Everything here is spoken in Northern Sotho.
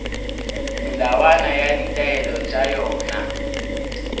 melawana le ditaelo tša yona